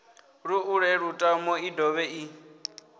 ṱuṱule lutamo i dovhe i